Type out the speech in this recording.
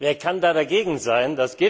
Wer kann da dagegen sein?